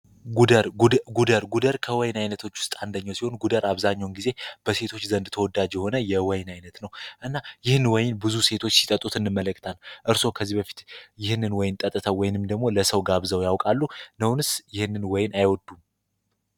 ጉደር ጉደር ከወይን ዓይነቶች ውስጥ አንደኘው ሲሆን፤ ጉደር አብዛኘውን ጊዜ በሴቶች ዘንድ ተወዳጅ የሆነ የወይን ዓይነት ነው። እና ይህን ወይን ብዙ ሴቶች ሲጠጡት እንመለክታን። እርስዎ ከዚህ በፊት ይህንን ወይን ጠጥተ ወይንም ደግሞ ለሰው ጋብዘው ያውቃሉ? ነውንስ ይህንን ወይን አይወዱም?